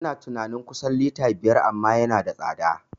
Ina tunani kusan lita biyar amma yana da tsada